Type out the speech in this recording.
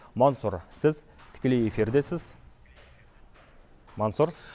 мансұр сіз тікелей эфирдесіз мансұр